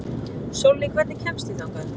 Sólný, hvernig kemst ég þangað?